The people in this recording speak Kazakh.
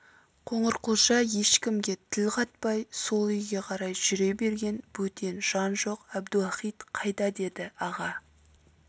қоңырқұлжа ешкімге тіл қатпай сол үйге қарай жүре берген бөтен жан жоқ әбдіуақит қайда деді аға